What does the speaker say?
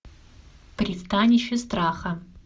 пристанище страха